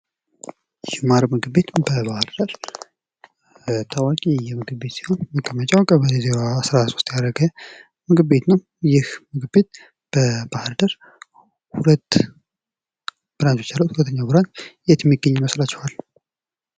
ጅማር ምግብ ቤት በባህር ዳር ታዋቂ ምግብ ቤት ሲሆን መገኛውን ቀበሌ 13 ያደረገ ምግብ ቤት ነው። ይህ ምግብ ቤት በባህር ዳር ሁለት ብራንቾች አሉት። የት እሚገኝ ይመስላችኋል?